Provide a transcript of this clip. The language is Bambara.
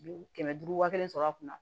Kɛmɛ duuru wa kelen sɔrɔ a kunna